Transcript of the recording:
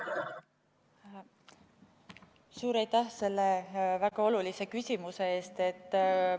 Suur aitäh selle väga olulise küsimuse eest!